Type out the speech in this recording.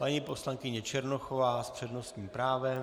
Paní poslankyně Černochová s přednostním právem.